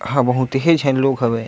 हा बहुत ही झन लोग हवे।